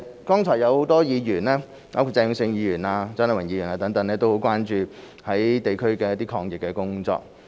剛才有很多議員，包括鄭泳舜議員及蔣麗芸議員等，均很關注地區抗疫工作。